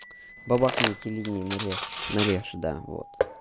бабахни эти линии нарежь нарежь да вот